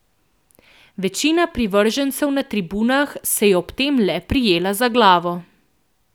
Večina privržencev na tribunah se je ob tem le prijela za glavo.